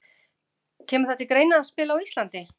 Kemur það til greina að spila á Íslandi?